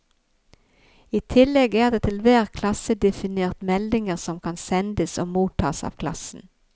I tillegg er det til hver klasse definert meldinger som kan sendes og mottas av klassen.